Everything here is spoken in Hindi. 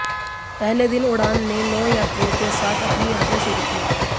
पहले दिन उड़ान ने नौ यात्रियों के साथ अपनी यात्रा शुरू की